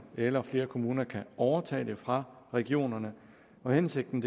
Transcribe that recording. eller flere kommuner kan overtage det fra regionerne hensigten